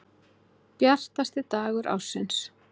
Bjartasti dagur ársins.